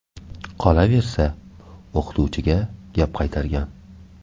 Qolaversa, o‘qituvchiga gap qaytargan.